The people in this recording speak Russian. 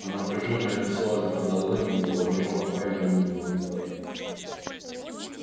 а напряжённое лицо альфреда лэннинга выражало крайнее неудовольствие